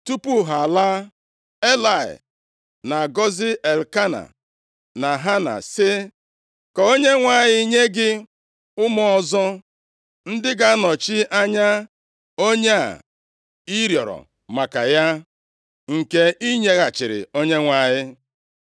Tupu ha alaa, Elayị na-agọzi Elkena na Hana sị, “Ka Onyenwe anyị nye gị ụmụ ọzọ, ndị ga-anọchi anya onye a ị rịọrọ maka ya, nke i nyeghachiri Onyenwe anyị.”